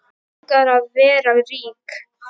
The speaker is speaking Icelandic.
Mig langar að vera rík.